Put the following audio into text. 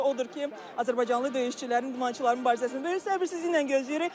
Odur ki, azərbaycanlı döyüşçülərin, idmançıların mübarizəsini biz səbirsizliklə gözləyirik.